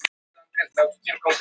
Jökulbergslögin eru fjögur.